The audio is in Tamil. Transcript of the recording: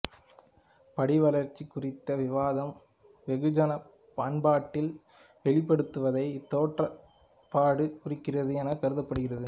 படிவளர்ச்சி குறித்த விவாதம் வெகுஜன பண்பாட்டில் வெளிப்படுவதையே இத்தோற்றப்பாடு குறிக்கிறது என கருதப்படுகிறது